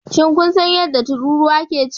Shin kun san yadda tururuwa ke ci?